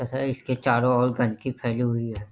इसके चारो ओर गंदगी फैली हुई है।